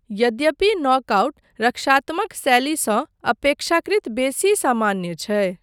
यद्यपि नॉकआउट रक्षात्मक शैलीसँ अपेक्षाकृत बेसी सामान्य छै।